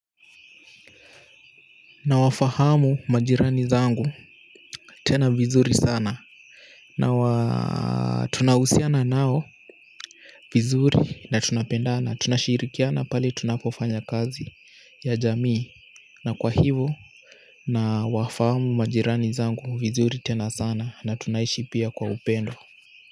Nawafahamu majirani zangu tena vizuri sana. Nawa tunahusiana nao vizuri na tunapendqna tunashirikiana pale tunapofanya kazi ya jamii na kwa hivo nawafahamu majirani zangu vizuri tena sana na tunaishi pia kwa upendo.